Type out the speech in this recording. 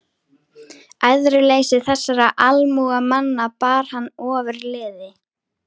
Æðruleysi þessara almúgamanna bar hann ofurliði.